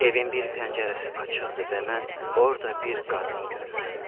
Evin bir pəncərəsi açıqdır və mən orda bir qadın görürəm.